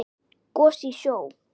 Gos í sjó